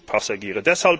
für Zugpassagiere.